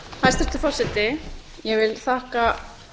hæstvirtur forseti ég vil þakka